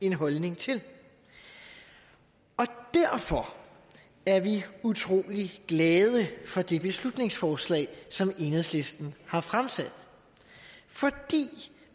en holdning til og derfor er vi utrolig glade for det beslutningsforslag som enhedslisten har fremsat for det